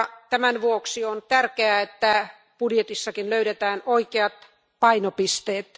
Tämän vuoksi on tärkeää, että budjetissakin löydetään oikeat painopisteet.